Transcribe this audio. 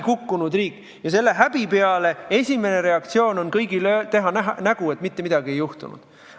Kõigi esimene reaktsioon selle häbi peale on teha nägu, et mitte midagi ei juhtunud.